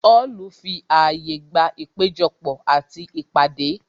Họlu fi àyè gba ìpéjọ pò àti ìpàdé